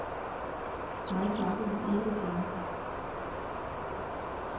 Mig smagte den ikke det fjerneste.